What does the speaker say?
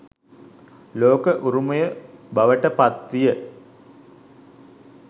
ලෝක උරුමය බවට පත් විය.